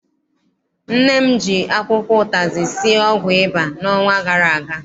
Nne m ji akwụkwọ ụtazị sie ọgwụ ịba n'ọnwa gara aga.